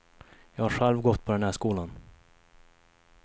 Jag har själv gått på den här skolan.